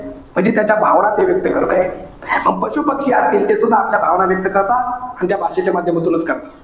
म्हणजे त्याच्या भावना ते व्यक्त करतंय. पशु-पक्षी असतील. ते सुद्धा आपल्या भावना व्यक्त करतात. आणि त्या भाषेच्या माध्यमातूनच करतात.